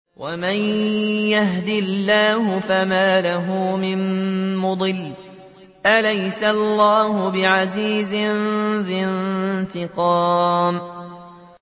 وَمَن يَهْدِ اللَّهُ فَمَا لَهُ مِن مُّضِلٍّ ۗ أَلَيْسَ اللَّهُ بِعَزِيزٍ ذِي انتِقَامٍ